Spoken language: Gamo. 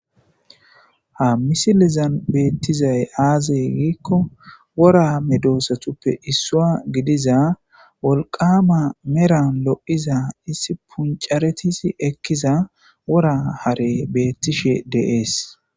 Ha misilizan beettizay aazey giikko wora medoosatuppe issua gidiza wolqama meran lo7iza issi puncaretisi ekkiza wora hare beettishe deees.